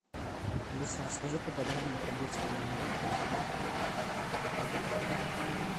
алиса расскажи поподробнее про детское меню в отеле